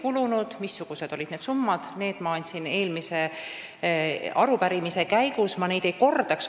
Selle ülevaate, missugused olid need summad, andsin ma juba arupärimise käigus, ma ei kordaks neid.